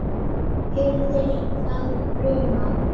hirðir þann bruna